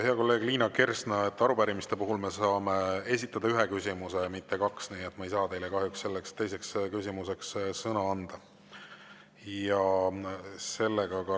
Hea kolleeg Liina Kersna, arupärimiste puhul saab esitada ühe küsimuse, mitte kaks, nii et ma ei saa teile kahjuks teiseks küsimuseks sõna anda.